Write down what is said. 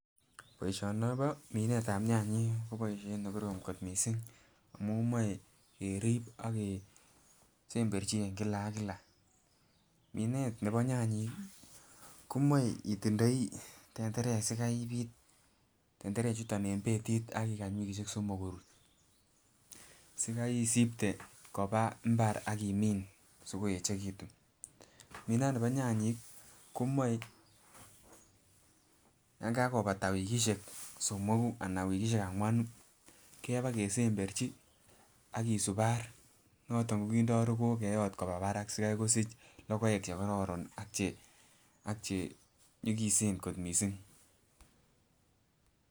Boisinibo minetab nyanyik koboisiet nekorom kot missing amun moe kerip ak kesemberchi eng kila ak kila minet nebo nyanyik komoe itindoi tenderek sikai ibiit tenderek chuton en betit akikany wikisiek somok korut sikai isipte koba mbar akimin sikoechekitun, minani bo nyanyik komoe yan kakobata wikisiek somoku anan wikisiek angwanu keba kesemberchi ak kisubar noton kindoo rogook keyot koba barak sikai kosich logoek chekororon ak che ak chenyigisen kot missing